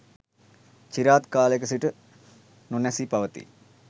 චිරාත් කාලයක සිට නොනැසී පවතී.